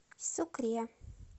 сукре